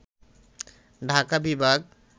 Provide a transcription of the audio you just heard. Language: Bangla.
ঢাকা বিভাগ